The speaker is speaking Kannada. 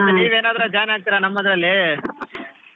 ನೀವೇನಾದ್ರೂ join ಆಗ್ತೀರಾ ನಮ್ಮದ್ರಲ್ಲಿ?